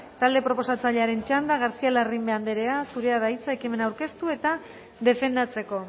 talde proposatzailearen txanda garcía larrimbe anderea zurea da hitza ekimena aurkeztu eta defendatzeko